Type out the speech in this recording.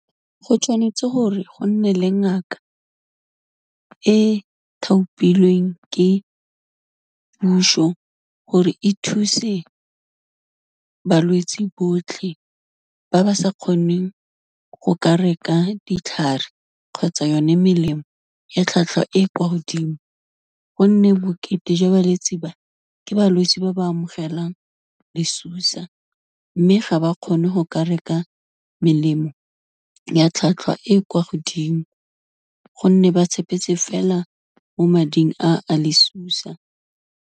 Go tshwanetse gore go nne le ngaka e thaopilweng ke puso, gore e thuse balwetsi botlhe ba ba sa kgoneng go ka reka ditlhare kgotsa yone melemo ya tlhwatlhwa e kwa godimo, gonne bokete jwa balwetse ba ke balwetsi ba ba amogelang disusa, mme ga ba kgone gore ba ka reka melemo ya tlhwatlhwa e kwa godimo, gonne ba tshepetse fela mo mading a, a lesusa.